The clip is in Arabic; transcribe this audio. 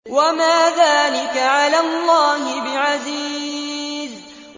وَمَا ذَٰلِكَ عَلَى اللَّهِ بِعَزِيزٍ